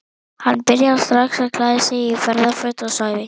Hann byrjaði strax að klæða sig í ferðaföt og sagði